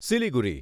Siliguri